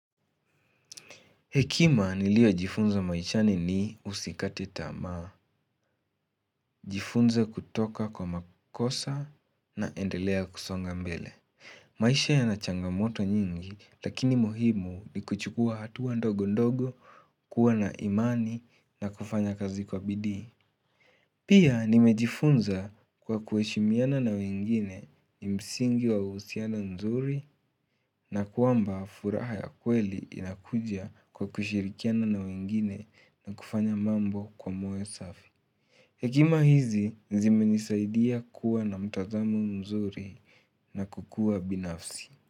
Hekima niliyojifunza maishani ni usikate tamaa, jifunze kutoka kwa makosa na endelea kusonga mbele. Maisha yana changamoto nyingi lakini muhimu ni kuchukua hatua ndogo ndogo, kuwa na imani na kufanya kazi kwa bidii. Pia nimejifunza kwa kuheshimiana na wengine ni msingi wa husiano nzuri na kwamba furaha ya kweli inakuja kwa kushirikiana na wengine na kufanya mambo kwa moyo safi. Hekima hizi zimenisaidia kuwa na mtazamo mzuri na kukua binafsi.